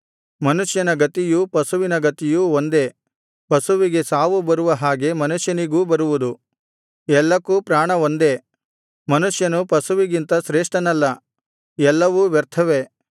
ಮನುಷ್ಯನ ಗತಿಯೂ ಪಶುವಿನ ಗತಿಯೂ ಒಂದೇ ಪಶುವಿಗೆ ಸಾವು ಬರುವ ಹಾಗೆ ಮನುಷ್ಯನಿಗೂ ಬರುವುದು ಎಲ್ಲಕ್ಕೂ ಪ್ರಾಣ ಒಂದೇ ಮನುಷ್ಯನು ಪಶುವಿಗಿಂತ ಶ್ರೇಷ್ಠನಲ್ಲ ಎಲ್ಲವು ವ್ಯರ್ಥವೇ